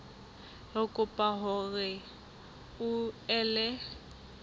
re kopa hore o ele